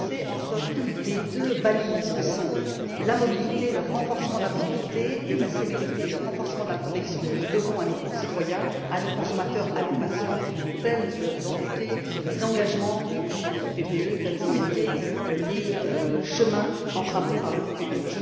Avancer entre les deux balises que sont la mobilité, le renforcement de la mobilité, et la sécurité et le renforcement de la protection, que nous devons à nos concitoyens, à nos consommateurs, à nos patients, tels ont été les engagements du groupe PPE, tels ont été les chemins empruntés par le groupe PPE.